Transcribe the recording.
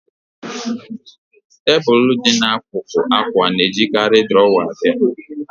Tebụl dị n'akụkụ akwa na-ejikarị drawer abịa